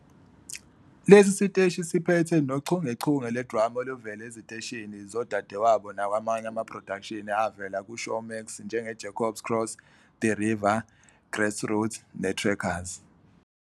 Lesi siteshi siphethe nochungechunge lwedrama oluvela eziteshini zodadewabo nakwamanye ama-productions avela ku- Showmax njengeJacob 's Cross, The River, Grassroots neTrackers.